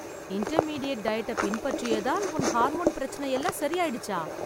intermediate டயட்ட பின்பற்றியதால் உன் ஹார்மோன் பிரச்சன எல்லாம் சரியாய்டுச்சா...